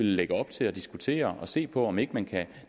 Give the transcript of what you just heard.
lægge op til og diskutere og se på om ikke man kan